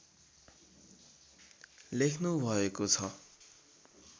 लेख्नुभएको छ